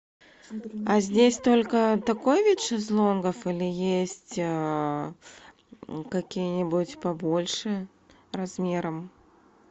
а здесь только такой вид шезлонгов или есть какие нибудь побольше размером